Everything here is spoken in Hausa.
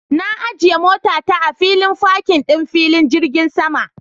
Na ajiye motata a filin fakin ɗin filin jirgin sama